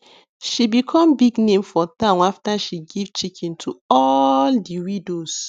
she become big name for town after she give chicken to all the widows